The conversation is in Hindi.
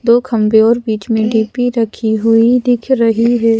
दो खंभे और बीच में डी_पी रखी हुई दिख रही है।